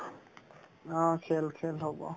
অ, খেল খেল হ'ব